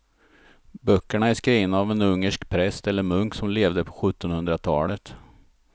Böckerna är skrivna av en ungersk präst eller munk som levde på sjuttonhundratalet.